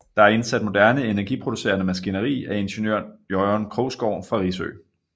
Der er indsat moderne energiproducerende maskineri af ingeniør Jørgen Krogsgård fra Risø